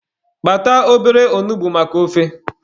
Kpata obere onugbu maka ofe.